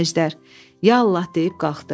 Əjdər: “Ya Allah” deyib qalxdı.